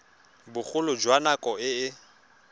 bogolo jwa nako e e